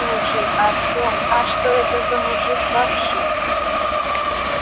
слушай артем а что это за мужик вообще